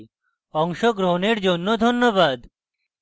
অংশগ্রহনের জন্য ধন্যবাদ